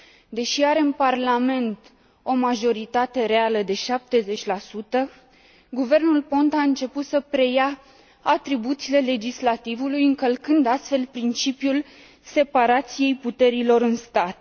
Deși are în Parlament o majoritate reală de 70, guvernul Ponta a început să preia atribuțiile legislativului, încălcând, astfel, principiul separației puterilor în stat.